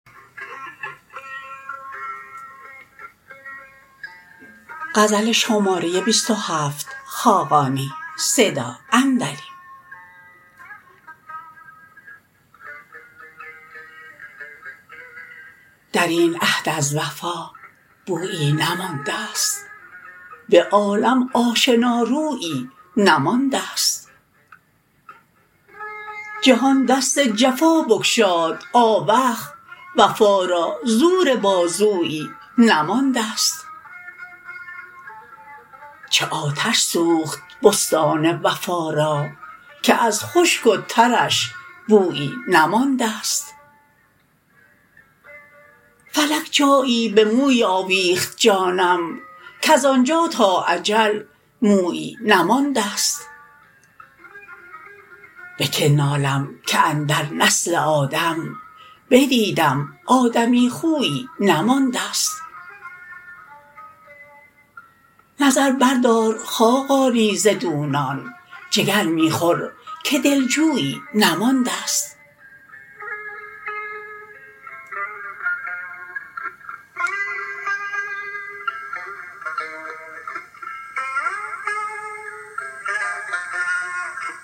در این عهد از وفا بویی نمانده است به عالم آشنارویی نمانده است جهان دست جفا بگشاد آوخ وفا را زور بازویی نمانده است چه آتش سوخت بستان وفا را که از خشک و ترش بویی نمانده است فلک جایی به موی آویخت جانم کز آنجا تا اجل مویی نمانده است به که نالم که اندر نسل آدم بدیدم آدمی خویی نمانده است نظر بردار خاقانی ز دونان جگر می خور که دلجویی نمانده است